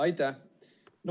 Aitäh!